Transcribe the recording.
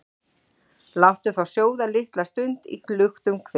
Láttu þá sjóða litla stund í luktum hver,